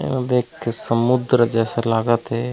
देख के समुद्र जैसा लागत हे |.